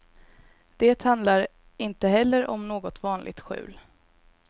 Det handlar inte heller om något vanligt skjul.